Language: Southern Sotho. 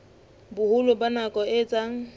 boholo ba nako e etsang